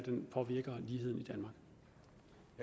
påvirker ligheden